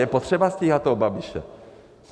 Je potřeba stíhat toho Babiše.